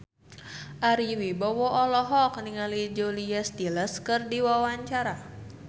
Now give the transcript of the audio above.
Ari Wibowo olohok ningali Julia Stiles keur diwawancara